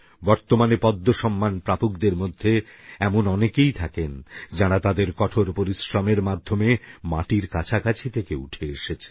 বর্তমানে পদ্মসম্মান প্রাপকদের মধ্যে এমন অনেকেই থাকেন যাঁরা তাঁদের কঠোর পরিশ্রমের মাধ্যমে মাটির কাছাকাছি থেকে উঠে এসেছেন